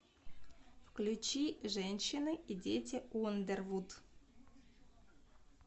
включи женщины и дети ундервуд